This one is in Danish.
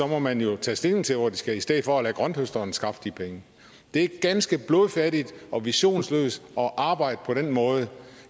må man jo tage stilling til hvor de skal i stedet for at lade grønthøsteren skaffe de penge det er ganske blodfattigt og visionsløst at arbejde på den måde